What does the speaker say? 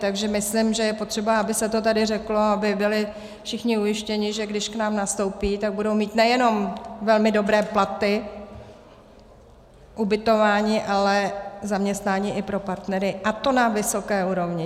Takže myslím, že je potřeba, aby se to tady řeklo, aby byli všichni ujištěni, že když k nám nastoupí, tak budou mít nejenom velmi dobré platy, ubytování, ale i zaměstnání pro partnery, a to na vysoké úrovni.